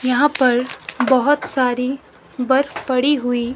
यहां पर बहोत सारी बर्फ पड़ी हुई--